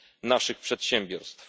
naszych przedsiębiorstw.